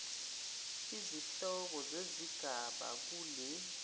izihloko zezigaba kule